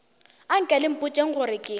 anke le mpotšeng gore ke